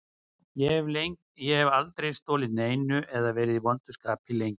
Ég hef aldrei stolið neinu eða verið í vondu skapi lengi.